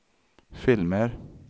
filmer